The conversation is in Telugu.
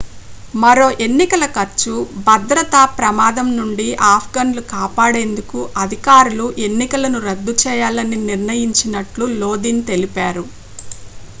మరో ఎన్నికల ఖర్చు భద్రత ప్రమాదం నుండి ఆఫ్ఘన్లు కాపాడేందుకు అధికారులు ఎన్నికలను రద్దు చేయాలని నిర్ణయించినట్లు లోదిన్ తెలిపారు